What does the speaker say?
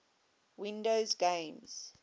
windows games